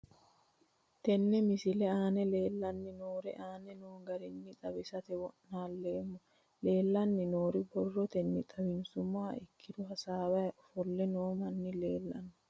Tene misile aana leelanni nooerre aane noo garinni xawisate wonaaleemmo. Leelanni nooerre borrotenni xawisummoha ikkiro hasaawaho ofolle noo manni leelanoe.